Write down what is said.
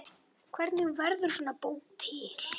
Hvernig verður svona bók til?